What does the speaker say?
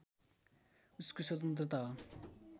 उसको स्वतन्त्रता हो